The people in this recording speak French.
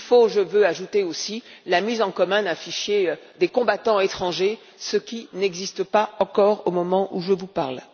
Je veux ajouter aussi la mise en commun d'un fichier des combattants étrangers, ce qui n'existe pas encore au moment où je vous parle.